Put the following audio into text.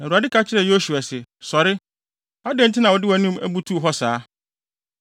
Na Awurade ka kyerɛɛ Yosua se, “Sɔre! Adɛn nti na wode wʼanim abutuw hɔ saa?